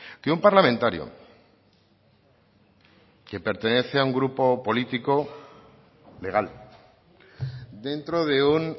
que un parlamentario que pertenece a un grupo político legal dentro de un